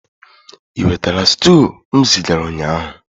Ị nwetara stew m zigara ụnyaahụ?